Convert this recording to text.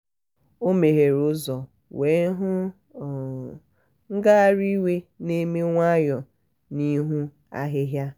ọ meghere ụzọ wee hụ um ngagharị um iwe na-eme nwayọ n'ihu ahịhịa.